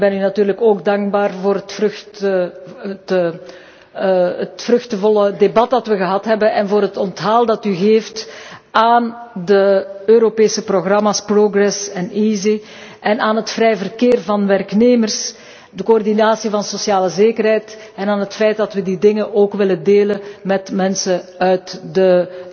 Ik ben u natuurlijk ook dankbaar voor het vruchtbare debat dat wij gehad hebben en voor het onthaal dat u geeft aan de Europese programma's Progress en EaSI, aan het vrije verkeer van werknemers en de coördinatie van sociale zekerheid, en aan het feit dat wij die dingen ook willen delen met mensen uit de